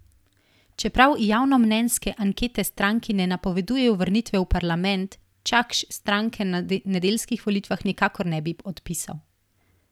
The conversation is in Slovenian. Čeprav javnomnenjske ankete stranki ne napovedujejo vrnitve v parlament, Čakš stranke na nedeljskih volitvah nikakor ne bi odpisal.